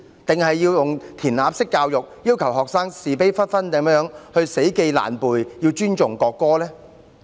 還是要用"填鴨式"教育，要求學生是非不分地死記爛背，尊重國歌呢？